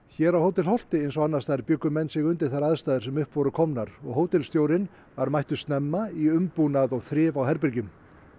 hér á Hótel Holti eins og annars staðar bjuggu menn sig undir þær aðstæður sem upp voru komnar og hótelstjórinn var mættur snemma í umbúnað og þrif á herbergjum